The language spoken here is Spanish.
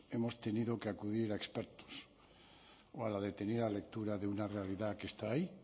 hemos tenido que acudir a expertos o a la detenida lectura de una realidad que está ahí